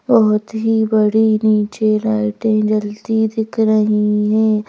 बहुत ही बड़ी नीचे लाइटें जलती दिख रही हैं।